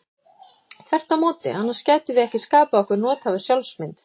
Þvert á móti, annars gætum við ekki skapað okkur nothæfa sjálfsmynd.